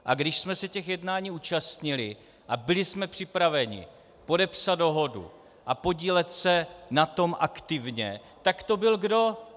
A když jsme se těch jednání účastnili a byli jsme připraveni podepsat dohodu a podílet se na tom aktivně, tak to byl kdo?